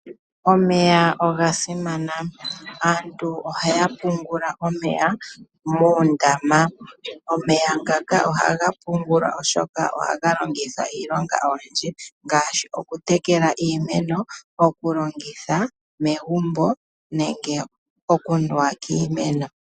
Omeya oga simana . Aantu ohaya pungula omeya moondama . Omeya ngaka ohaga pungulwa oshoka ohaga longithwa iilonga oyindji ngaashi oku tekela iimeno, oku longitha megumbo nenge oku nuwa kiinamwenyo.